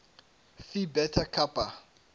phi beta kappa